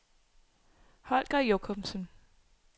Holger Jochumsen